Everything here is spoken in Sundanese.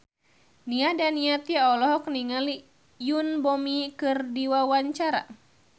Nia Daniati olohok ningali Yoon Bomi keur diwawancara